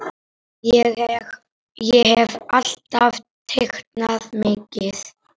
Ég hef alltaf teiknað mikið.